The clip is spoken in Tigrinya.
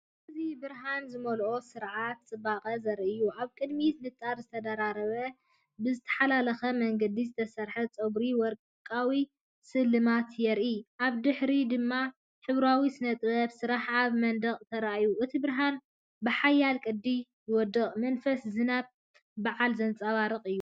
እዚብርሃን ዝመልአ ስርዓት ጽባቐ ዘርኢ እዩ። ኣብ ቅድሚት ንጣር ዝተደራረበን ብዝተሓላለኸ መንገዲ ዝተሰርሐን ጸጉርን ወርቃዊ ስልማትን ይርአ። ኣብ ድሕሪት ድማ ሕብራዊ ስነ-ጥበባዊ ስርሓት ኣብ መንደቕ ተራእዩ። እቲ ብርሃን ብሓያል ቅዲ ይወድቕ፣ መንፈስ ዝናብን በዓልን ዘንጸባርቕ እዩ።